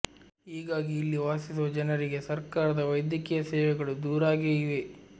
ಹೀಗಾಗಿ ಇಲ್ಲಿ ವಾಸಿಸುವ ಜನರಿಗೆ ಸರ್ಕಾರದ ವೈದ್ಯಕೀಯ ಸೇವೆಗಳು ದೂರಾಗೇ ಇವೆ